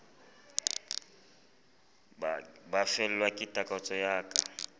ba fellwa ke takatso ya